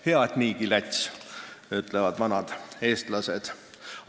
"Hea, et niigi läts," ütlevad vanad eestlased.